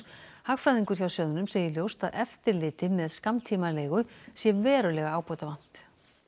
hagfræðingur hjá sjóðnum segir ljóst að eftirliti með skammtímaleigu sé verulega ábótavant